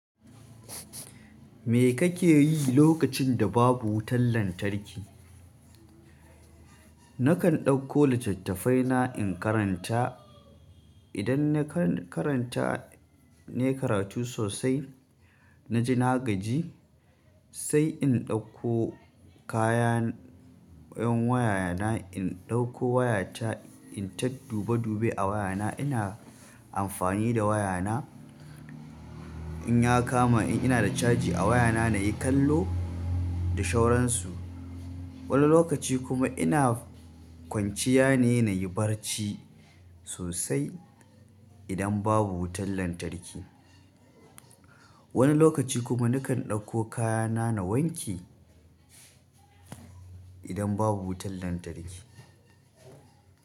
Me kake yi lokacin da babu wutan lantarki? Nakan ɗauko littattafai na in karanta. Idan na karanta na yi karatu sosai na ji na gaji sai in ɗauko kaya 'yan waya na, in ɗauko wayata, in ta dube dube a wayana. Ina amfani da wayana in ya kama in ina da caji a wayana na yi kallo da shawaransu. Wani lokaci kuma ina kwanciya ne, na yi barci sosai idan babu wutan lantarki. Wani lokaci kuma nakan ɗauko kayana na wanke idan babu wutan lantarki.